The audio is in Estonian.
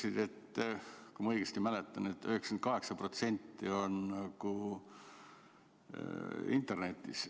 Sa ütlesid, kui ma õigesti mäletan, et 98% on internetis.